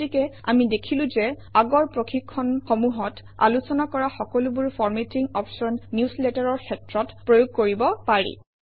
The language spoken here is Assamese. গতিকে আমি দেখিলো যে আগৰ প্ৰশিক্ষণসমূহত আলোচনা কৰা সকলোবোৰ ফৰমেটিং অপশ্যন নিউজলেটাৰৰ ক্ষেত্ৰত প্ৰয়োগ কৰিব পাৰি